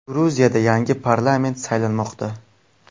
Gruziyada yangi parlament saylanmoqda.